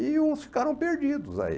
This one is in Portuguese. E uns ficaram perdidos aí.